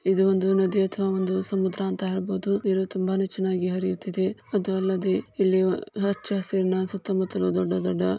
ಇದು ನದಿ ಅಥವಾ ಒಂದು ಸಮುದ್ರ ಅಂತ ಹೇಳ್ಬೋದು ನೀರು ತುಂಬನೇ ಚೆನ್ನಾಗಿ ಹರಿಯುತ್ತಿದೆ ಅದು ಅಲ್ಲದೆ ಇಲ್ಲಿ ಹಚ್ಚ ಹಸಿರಿನ ಸುತ್ತ ಮುತ್ತಲು ದೊಡ್ಡ ದೊಡ್ಡ